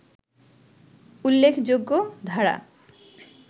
উল্লেখযোগ্য ধারা